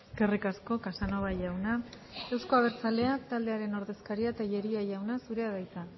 eskerrik asko casanova jauna euzko abertzaleak taldearen ordezkaria tellería jauna zurea da hitza